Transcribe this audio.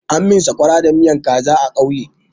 An min sakwara da miyan kaza a ƙauye.